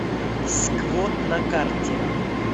сквот на карте